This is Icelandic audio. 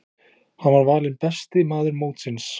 Hann var valinn besti maður mótsins.